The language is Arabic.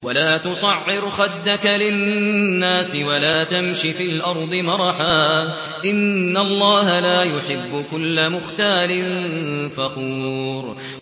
وَلَا تُصَعِّرْ خَدَّكَ لِلنَّاسِ وَلَا تَمْشِ فِي الْأَرْضِ مَرَحًا ۖ إِنَّ اللَّهَ لَا يُحِبُّ كُلَّ مُخْتَالٍ فَخُورٍ